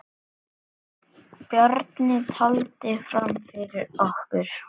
Bjarni taldi fram fyrir okkur.